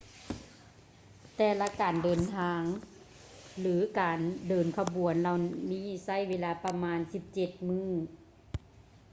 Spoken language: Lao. ແຕ່ລະການເດີນເສັ້ນທາງ ຫຼື ການເດີນຂະບວນເຫລົ່ານີ້ໃຊ້ເວລາປະມານ 17 ມື້